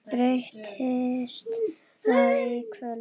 Breytist það í kvöld?